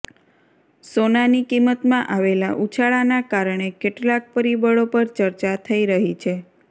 સોનાની કિંમતમાં આવેલા ઉછાળાના કારણે કેટલાક પરિબળો પર ચર્ચા થઇ રહી છે